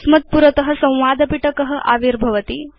अस्मत् पुरत संवाद पिटक आविर्भवति